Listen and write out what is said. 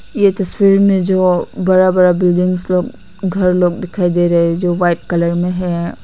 ये तस्वीर में जो बड़ा बड़ा बिल्डिंग्स लोग घर लोग दिखाई दे रहे जो वाइट कलर में है।